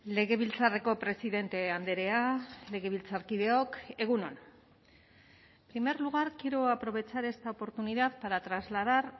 legebiltzarreko presidente andrea legebiltzarkideok egun on en primer lugar quiero aprovechar esta oportunidad para trasladar